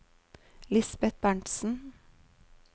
Lisbet Berntsen